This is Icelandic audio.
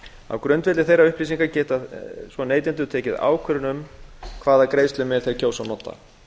á grundvelli þeirra upplýsinga geta neytendur svo tekið ákvörðun um hvaða greiðslumiðil þeir kjósa að nota